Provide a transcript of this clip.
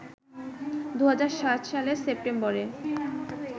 ২০০৭ সালের সেপ্টেম্বরে